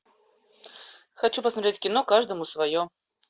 хочу посмотреть кино каждому свое